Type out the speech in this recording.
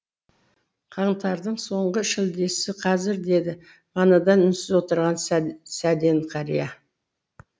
қаңтардың соңғы шілдесі қазір деді манадан үнсіз отырған сәден қария